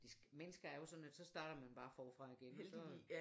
De mennesker er jo sådan at så starter man bare forfra igen og så